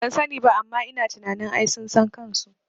Bansani ba amma ina tunanin ai sun san kanso